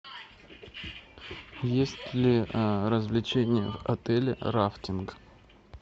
есть ли развлечение в отеле рафтинг